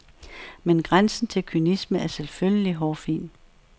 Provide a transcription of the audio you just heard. Men grænsen til kynisme er selvfølgelig hårfin.